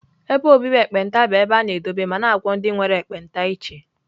Ebe obibi ekpenta bụ ebe a na-edobe ma na-agwọ ndị nwere ekpenta iche.